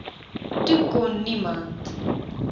toe kon niemand